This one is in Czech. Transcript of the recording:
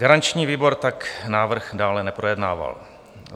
Garanční výbor tak návrh dále neprojednával.